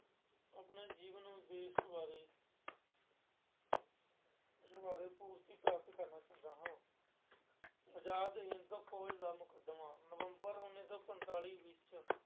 ਆਪਣੇ ਜੀਵਨ ਉਦੇਸ਼ ਬਾਰੇ ਪੂਰਤੀ ਪ੍ਰਾਪਤ ਕਰਨਾ ਚਾਹੁੰਦਾ ਹਾਂ। ਆਜ਼ਾਦ ਹਿੰਦ ਫੌਜ ਦਾ ਮੁੱਖ ਸਮਾਂ- ਨਵਂੰਬਰ ਉੱਨੀ ਸੌ ਪੰਤਾਲੀ ਵਿੱਚ